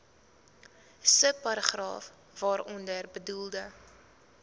subparagraaf waaronder bedoelde